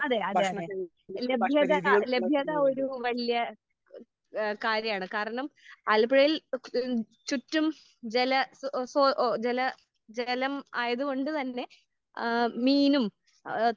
അതെ അതെ അതെ ലഭ്യത ലഭ്യത ഒരു വല്യേ ഏഹ് കാര്യാണ് കാരണം ആലപ്പുഴയിൽ ചുറ്റും ജല ഓഹ് സോ ജല ജലം ആയത് കൊണ്ട് തന്നെ ഏഹ് മീനും ഏഹ്